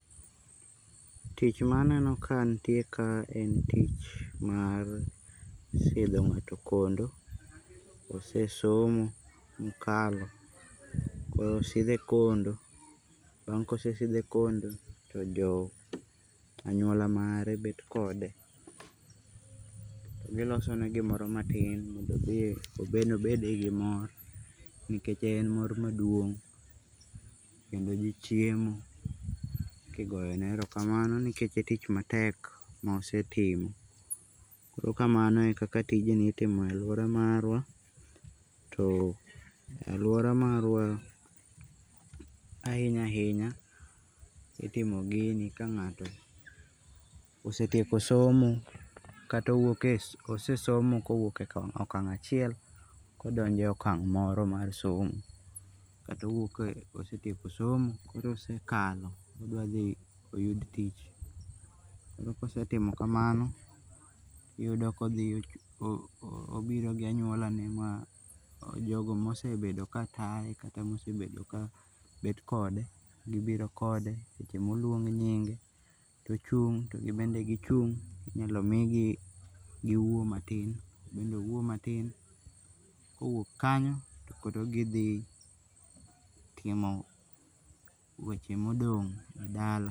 Tich ma aneno ka nitie kaa en tich mar sidho ng'ato kondo, osesomo ma okalo koro osethe kondo bang'e kosesidhe kondo to jo anyuala mare bet kode to gilosone gimoro matin mondo embe obediye gi mor nikech en mor maduong' kendo ji chiemo kigoyone erokamano nikech otich matek mosetimo. koro kamano eka tijni itimo e aluora marwa too aluora marwa ahinya ahinya itimo gini ka ngato osetieko somo kata osesomo kowuok okang achiel kodonje okang' moro mar somo kata osetieko somo koro osekalon odwadhi oyud tich koro kosetimo kamano iyudo ka obiro gia anyuolane ma jogo ma osebedo ka taye kata ma osebedo ka bet kode gibiro kode seche ma oseluong nying' to ochung to gimbe gi chung inyalo migi gi wuo matin to embe owuo matin kowuok kanyo tokoro gi thi timo weche modong' dala.